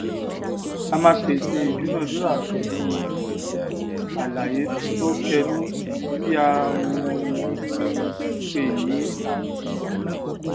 a máa pèsè ìdúnadúrà pèlú àlàyé tó kẹnú tí a um um pè ní àròsọ